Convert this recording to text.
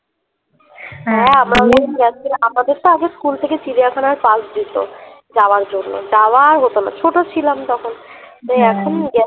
হ্যা আমরা যখন গেছিলাম আমাদের তো আগে স্কুল থেকে চিড়িয়াখানার bus দিত যাওয়ার জন্য যাওয়া হতো না ছোট ছিলাম তখন